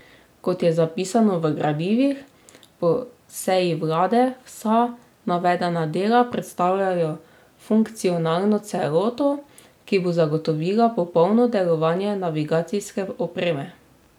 Kot je zapisano v gradivih po seji vlade, vsa navedena dela predstavljajo funkcionalno celoto, ki bo zagotovila popolno delovanje navigacijske opreme.